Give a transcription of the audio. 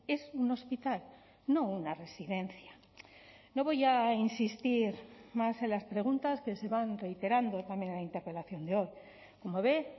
es un hospital no una residencia no voy a insistir más en las preguntas que se van reiterando también en la interpelación de hoy como ve